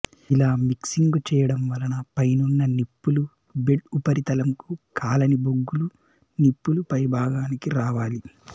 ఇలా మిక్సింగు చెయ్యడం వలన పైనున్న నిప్పులు బెడ్ ఉపరితలంకు కాలని బొగ్గులు నిప్పుల పైభాగానికి రావాలి